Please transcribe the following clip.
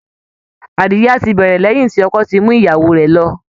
Àríyá ti bẹ̀rẹ̀ lẹ́yìn tí ọkọ ti mú ìyàwó rẹ̀ lọ